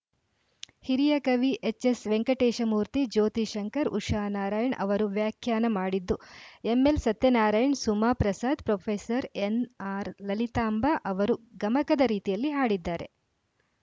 ಹಿರಿಯ ಕವಿ ಎಚ್‌ಎಸ್‌ವೆಂಕಟೇಶಮೂರ್ತಿ ಜ್ಯೋತಿ ಶಂಕರ್‌ ಉಷಾ ನಾರಾಯಣ್‌ ಅವರು ವ್ಯಾಖ್ಯಾನ ಮಾಡಿದ್ದು ಎಂಎಲ್‌ಸತ್ಯನಾರಾಯಣ್‌ ಸುಮಾ ಪ್ರಸಾದ್‌ ಪ್ರೊಫೆಸರ್ ಎನ್‌ಆರ್‌ಲಲಿತಾಂಬ ಅವರು ಗಮಕದ ರೀತಿಯಲ್ಲಿ ಹಾಡಿದ್ದಾರೆ